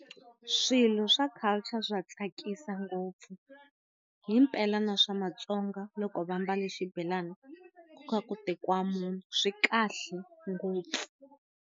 Swilo swa culture swa tswikisa ngopfu swa pela na swa matsonga ḽo kovha mbale na sibelane zwi kale ngopfu.